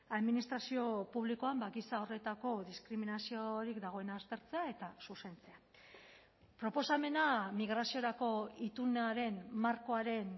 administrazio publikoan giza horretako diskriminaziorik dagoen aztertzea eta zuzentzea proposamena migraziorako itunaren markoaren